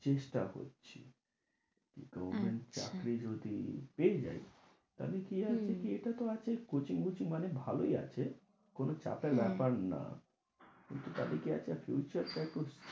চেষ্টা করছি government চাকরি যদি পেয়ে যাই তাহলে কি জানিস কি, এটাত আছে coaching coaching মানে ভালোই আছে। কোন চাপের ব্যাপার না কিন্তু তাতে কি একটা future টা একটু